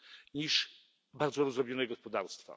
niż bardzo rozdrobnione gospodarstwa.